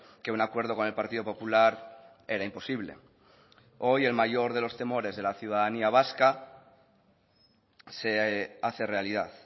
que un acuerdo con el partido popular era imposible hoy el mayor de los temores de la ciudadanía vasca se hace realidad